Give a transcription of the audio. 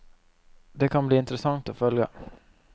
Det kan bli interessant å følge.